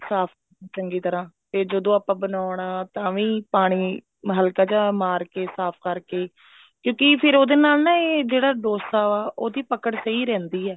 ਸਾਫ਼ ਚੰਗੀ ਤਰ੍ਹਾਂ ਤੇ ਜਦੋਂ ਆਪਾਂ ਬਣਾਉਣਾ ਤਾਂ ਵੀ ਪਾਣੀ ਹਲਕਾ ਜਾ ਮਾਰ ਕੇ ਸਾਫ਼ ਕਰਕੇ ਕਿਉਂਕਿ ਫਿਰ ਉਹਦੇ ਨਾਲ ਨਾ ਇਹ ਜਿਹੜਾ dosa ਉਹਦੀ ਪਕੜ ਸਹੀ ਰਹਿੰਦੀ ਹੈ